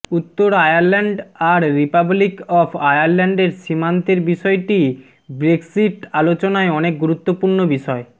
উত্তর আয়ারল্যান্ড আর Republic of আয়ারল্যান্ডের সীমান্তের বিষয়টি ব্রেক্সিট আলোচনায় অনেক গুরুত্বপূর্ণ বিষয়